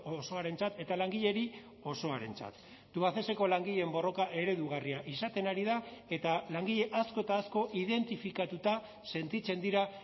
osoarentzat eta langileri osoarentzat tubacexeko langileen borroka eredugarria izaten ari da eta langile asko eta asko identifikatuta sentitzen dira